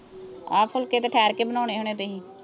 ਆਹ ਫੁਲਕੇ ਤਾਂ ਠਹਿਰ ਕੇ ਬਣਾਉਣੇ ਹੋਣੇ ਆ ਤੁਸੀਂ